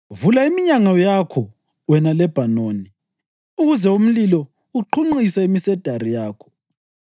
Vula iminyango yakho, wena Lebhanoni, ukuze umlilo uqhunqise imisedari yakho!